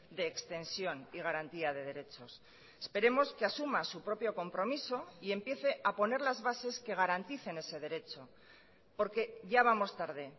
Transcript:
de extensión y garantía de derechos esperemos que asuma su propio compromiso y empiece a poner las bases que garanticen ese derecho porque ya vamos tarde